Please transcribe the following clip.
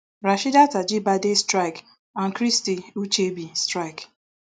rasheedat ajibade strike and christy ucheibe strike